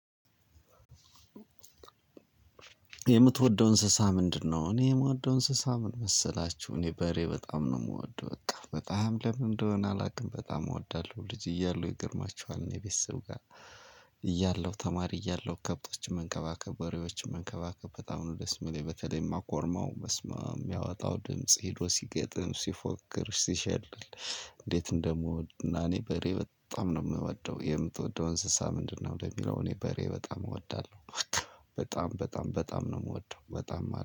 የምትወደው እንስሳ ምንድነው? እኔ የምወደው እንስሳ ምን መሰላችሁ እኔ በሬ በጣም ነው የምወደው በጣም በጣም ለምን እንደሆነ አላውቅም በጣም እወዳለሁ። ልጅ እያሉ ይገርማችኋል። እኔ ቤተሰብ ጋር እያለሁ ተማሪ እያለሁ ከብቶችን መንከባከብ በሬዎችን መንከባከብ በጣም ነው ደስ የሚለኝ በተለይማ ኮርማው በስማም የሚያወጣው ድምጽ ሄዶ ሲገጥም ሲፎክር ሲሸልል። እንዴት እንደምወድ እና እኔ በሬ በጣም ነው የምወደው። የምትወደው እንስሳ ምንድነው? ለሚለው እኔ በሬ በጣም እወዳለሁ። በጣም በጣም በጣም ነው የምወደው በጣም